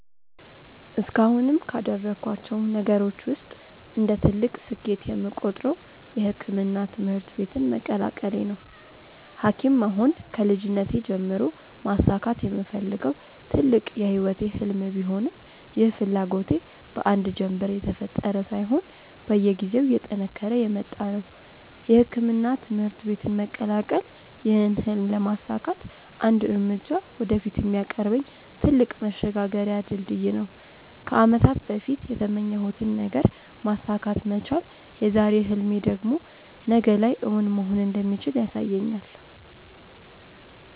እስካሁንም ካደረኳቸው ነገሮች ውስጥ እንደ ትልቅ ስኬት የምቆጥረው የሕክምና ትምህርት ቤትን መቀላቀሌ ነው። ሀኪም መሆን ከልጅነቴ ጀምሮ ማሳካት የምፈልገው ትልቅ የህይወቴ ህልም ቢሆንም ይህ ፍላጎቴ በአንድ ጀንበር የተፈጠረ ሳይሆን በየጊዜው እየጠነከረ የመጣ ነው። የሕክምና ትምህርት ቤትን መቀላቀል ይህን ህልም ለማሳካት አንድ እርምጃ ወደፊት የሚያቀርበኝ ትልቅ መሸጋገሪያ ድልድይ ነው። ከአመታት በፊት የተመኘሁትን ነገር ማሳካት መቻል የዛሬ ህልሜ ደግሞ ነገ ላይ እውን መሆን እንደሚችል ያሳየኛል።